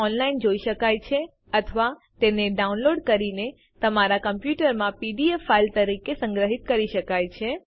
જેને ઓનલાઈન જોઈ શકાય છે અથવા તેને ડાઉનલોડ કરીને તમારા કમપ્યુટરમાં પીડીએફ ફાઈલ તરીકે સંગ્રહિત કરી શકાય છે